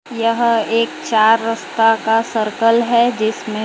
यह एक चार रस्ता का सर्कल है जिसमें --